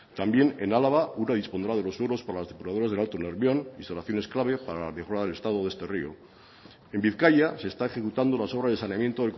también en álava ura dispondrá de los suelos por las depuradoras del alto nervión y soluciones claves para que restaure el estado de este rio en bizkaia se está ejecutando las obras de saneamiento